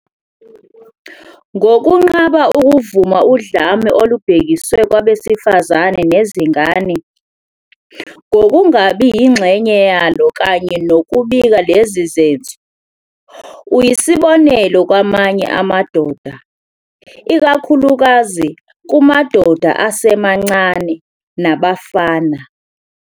Ngokunqaba ukuvuna udlame olubhekiswe kwabesifazane nezingane, ngokungabi yingxenye yalo kanye nokubika lezi zenzo, uyisibonelo kwamanye amadoda, ikakhulukazi kumadoda asemancane nabafana.